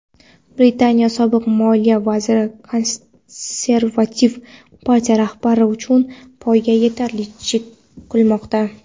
Britaniya sobiq moliya vaziri Konservativ partiya rahbarligi uchun poygada yetakchilik qilmoqda.